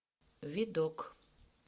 видок